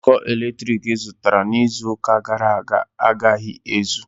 Njikọ eletriki ị zụtara n'izu ụka gàrà aga agaghi ézù